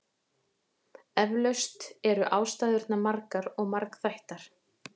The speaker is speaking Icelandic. Eflaust eru ástæðurnar margar og margþættar.